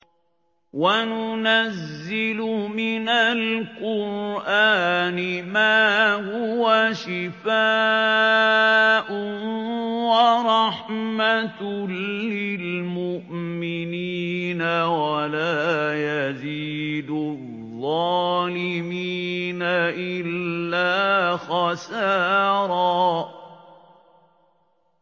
وَنُنَزِّلُ مِنَ الْقُرْآنِ مَا هُوَ شِفَاءٌ وَرَحْمَةٌ لِّلْمُؤْمِنِينَ ۙ وَلَا يَزِيدُ الظَّالِمِينَ إِلَّا خَسَارًا